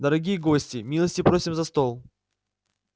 дорогие гости милости просим за стол